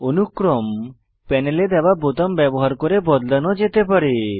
অনুক্রম প্যানেলে দেওয়া বোতাম ব্যবহার করে বদলানো যেতে পারে